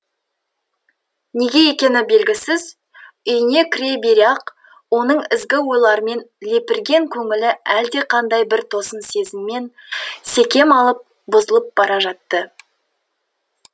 неге екені белгісіз үйіне кіре бере ақ оның ізгі ойлармен лепірген көңілі әлдеқандай бір тосын сезіммен секем алып бұзылып бара жатты